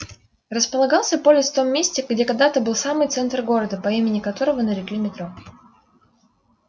располагался полис в том месте где когда-то был самый центр города по имени которого нарекли метро